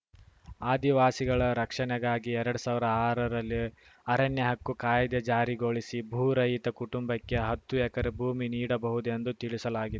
ಆದಿವಾಸಿಗಳ ರಕ್ಷಣೆಗಾಗಿ ಎರಡು ಸಾವಿರ ಆರರಲ್ಲಿಅರಣ್ಯ ಹಕ್ಕು ಕಾಯ್ದೆ ಜಾರಿಗೊಳಿಸಿ ಭೂರಹಿತ ಕುಟುಂಬಕ್ಕೆ ಹತ್ತು ಎಕರೆ ಭೂಮಿ ನೀಡಬಹುದೆಂದು ತಿಳಿಸಲಾಗಿ